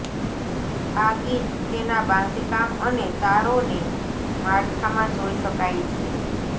આ ગીત તેના બાંધકામ અને તારોને માળખામાં જોઇ શકાય છે